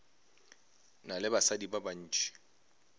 na le basadi ba bantši